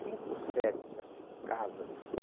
Cinco sedes assim, casas.